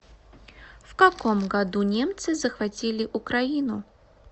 в каком году немцы захватили украину